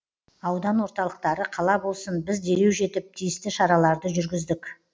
аудан орталықтары қала болсын біз дереу жетіп тиісті шараларды жүргіздік